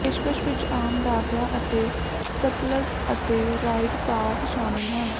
ਪੇਸ਼ਕਸ਼ ਵਿਚ ਆਮ ਦਾਖਲਾ ਅਤੇ ਸਪਲਸ਼ ਅਤੇ ਰਾਈਡ ਪਾਸ ਸ਼ਾਮਲ ਹਨ